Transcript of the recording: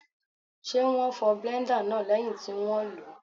Ṣé wón fọ bléńdà náà lẹ́yìn tí wón lòó.